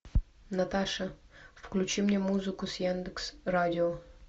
наташа включи мне музыку с яндекс радио